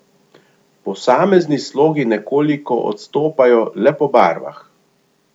Posamezni slogi nekoliko odstopajo le po barvah.